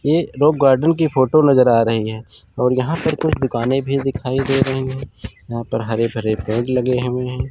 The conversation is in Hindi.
ये दो गार्डन की फोटो नजर आ रही है और यहाॅं पर कुछ दुकानें भी दिखाई दे रही हैं यहाॅं पर हरे भरे पेड़ लगे हुए हैं।